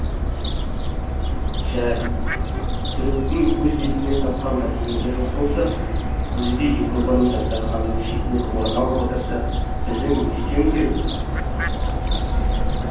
жә түріктің өз бетімен тапқан мәдениеті жоқ болса өзі де европаның дастарханының шетінен орын алып отырса біздің не істеуіміз керек